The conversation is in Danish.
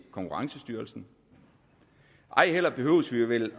konkurrencestyrelsen ej heller behøver vi vel